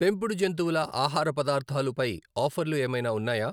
పెంపుడు జంతువుల ఆహార పదార్థాలు పై ఆఫర్లు ఏమైనా ఉన్నాయా ?